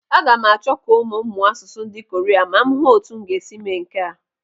Aga m achọ ka ụmụ m mụọ asụsụ ndị Koria ma m hụ ọ́tụ́ m ga-esi mee nke a.